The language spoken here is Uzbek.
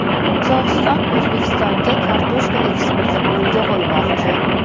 Qozog‘iston O‘zbekistonga kartoshka eksportini yo‘lga qo‘ymoqchi.